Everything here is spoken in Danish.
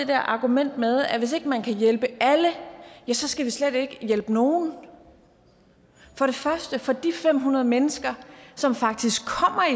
der argument med at hvis ikke man kan hjælpe alle ja så skal man slet ikke hjælpe nogen for det første for de fem hundrede mennesker som faktisk kommer